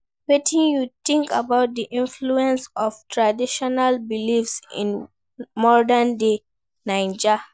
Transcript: Wetin you think about di influence of traditional beliefs in modern-day Naija?